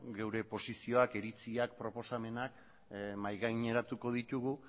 gure posizioak iritziak proposamenak mahai gaineratuko ditugu